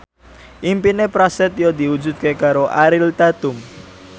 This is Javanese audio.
impine Prasetyo diwujudke karo Ariel Tatum